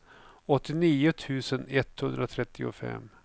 åttionio tusen etthundratrettiofem